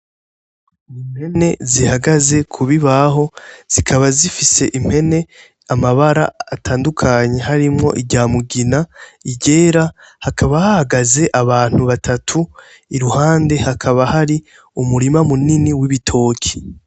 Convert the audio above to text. N'impene zihagaze kubibaho, zikaba zifise impene amabara atandukanye harimwo iryamugina, iryera ,hakaba hahagaze abantu batatu, iruhande hakaba hari umurima munini w'ibitoki.